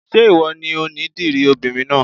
Ṣé ìwọ ni onídìrí obìnrin náà?